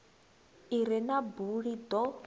i re na buli ḓo